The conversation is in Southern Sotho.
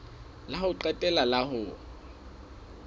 la ho qetela la ho